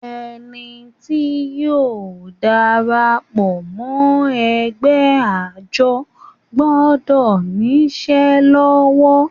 Ẹni tí yóò darapọ̀ mọ́ ẹgbẹ́ àjọ gbọdọ̀ ní isẹ́ lọ́wọ́